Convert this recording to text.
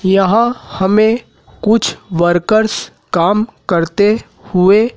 यहां हमें कुछ वर्कर्स काम करते हुए--